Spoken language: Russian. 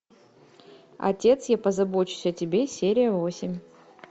отец я позабочусь о тебе серия восемь